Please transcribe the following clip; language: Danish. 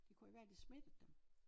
Det kunne jo være de smittede dem